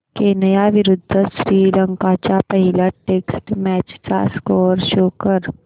Kenya विरुद्ध श्रीलंका च्या पहिल्या टेस्ट मॅच चा स्कोअर शो कर